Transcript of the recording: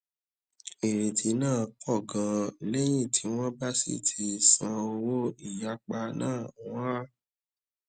ìrètí náà pọ ganan lẹyìn tí wọn bá sì ti san owó ìyapa náà wọn á